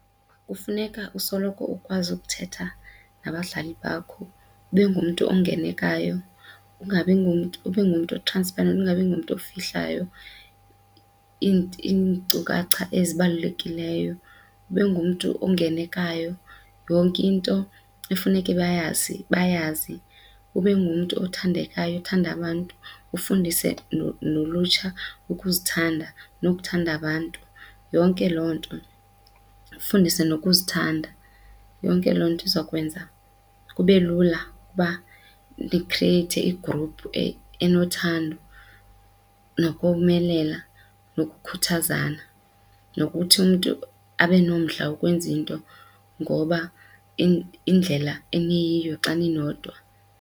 Kufuneka usoloko ukwazi ukuthetha nabadlali bakho, ube ngumntu ongenekayo ungabi ngumntu ube ngumntu transparent ungabi ngumntu ofihlayo iinkcukacha ezibalulekileyo. Ube ngumntu ongenekayo yonke into efuneke bayazi bayazi, ube ngumntu othandekayo othanda abantu ufundise nolutsha ukuzithanda nokuthanda abantu yonke loo nto. Ufundise nokuzithanda yonke loo nto iza kwenza kube lula uba nikhrieyithe igruphu enothando nokomelela nokukhuthazana nokuthi umntu abe nomdla wokwenza into ngoba indlela eniyiyo xa ninodwa.